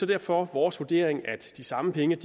derfor vores vurdering at de samme penge